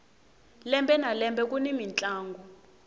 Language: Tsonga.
lembe na lembe kuni mintlangu